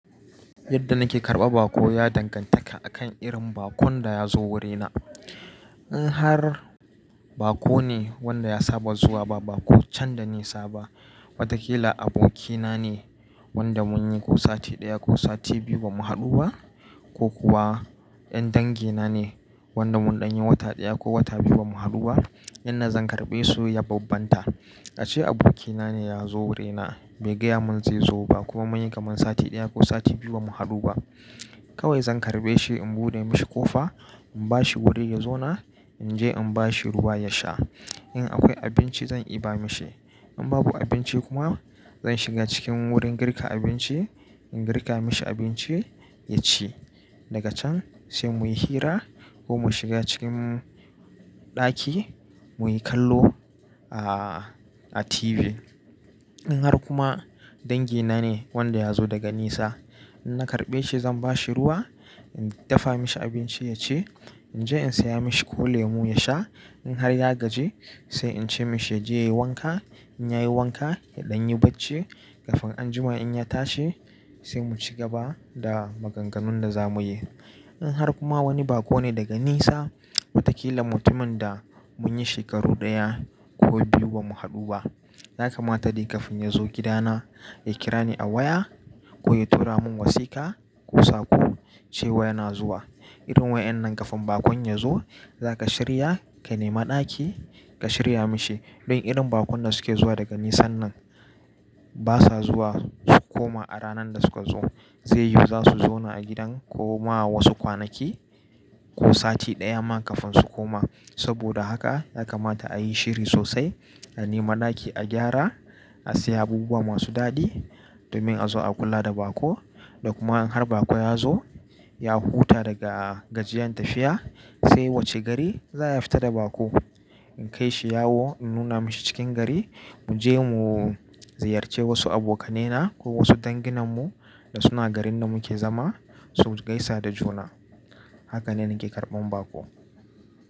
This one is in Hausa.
Yadda nake karɓar baƙo ya dangantaka akan irin bakon da ya zo wurina. In har baƙo ne wanda ya saba zuwa ba, baƙo can da nisa ba, wataƙila abokina ne wanda mun yi ko sati ɗaya ko sati biyu bamu haɗu ba, ko kuwa ƴan dangina ne wanda mun ɗan yi wata ɗaya ko wata biyu bamu haɗu ba, yanda zan karɓe su ya bambanta. A ce abokina ne ya zo wurina bai gayamun zai zo ba kuma mun yi kamar sati ɗaya ko sati biyu bamu haɗu ba. Kawai zan karɓe shi, in buɗe mishi ƙofa, in ba shi wuri ya zauna, in je in ba shi ruwa ya sha. In akwai abinci zan iya ba mishi. In babu abinci kuma zan shiga cikin wurin girka abinci, in girka mishi abinci ya ci. Daga can sai muyi hira ko mu shiga cikin ɗaki muyi kallo a, a TV. In har kuma dangina ne wanda ya zo daga nisa, in na karɓe shi zan ba shi ruwa, in dafa mishi abinci ya ci, in je in saya mishi ko lemu ya sha. In har ya gaji sai in ce mishi ya je yayi wanka. In ya yi wanka, ya ɗan yi bacci, ƙafin anjima in ya tashi sai mu ci gaba da maganganun da za mu yi. In har kuma wani baƙo ne daga nisa, wataƙila mutumin da mun yi shekaru ɗaya ko biyu bamu haɗu ba, ya kamata dai ƙafin ya zo gidana, ya kira ni a waya ko ya tura mun wasika ko sako cewa yana zuwa. Irin waƴan nan ƙafin bakon ya zo, za ka shirya, ka nema ɗaki ka shirya mishi. Don irin bakon da suke zuwa daga nisa nan basa zuwa su koma a ranar da suka zo. Zai yiwu za su zauna a gidan ko ma wasu kwanaki ko sati ɗaya man ƙafin su koma. Saboda haka ya kamata a yi shiri sosai, a nema ɗaki, a gyara, a siya abubuwa masu daɗi domin a zo a kula da baƙo. Da kuma in har baƙo ya zo, ya huta daga gajiyan tafiya sai wacce gari za ya fita da baƙo. In kai shi yawo, in nuna mishi cikin gari, mu je mu ziyarce wasu abokanai na ko wasu danginnan mu da suna garin da muke zama su gaisa da juna. Haka ne nake karɓan baƙo.